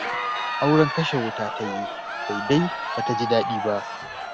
Auren kashe wuta ta yi, sai dai ba ta ji da daɗi ba.